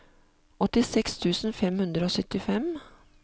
åttiseks tusen fem hundre og syttifem